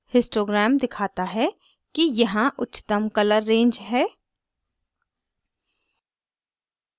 histogram दिखाता है कि यहाँ उच्चतम colour range हैं